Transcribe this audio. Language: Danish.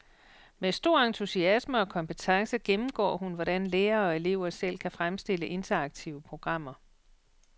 Med stor entusiasme og kompetence gennemgår hun, hvordan lærere og elever selv kan fremstille interaktive programmer.